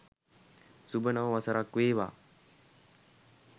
සුභ නව වසරක් වේවා